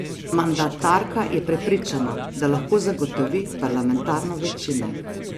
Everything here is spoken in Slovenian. Mandatarka je prepričana, da lahko zagotovi parlamentarno večino.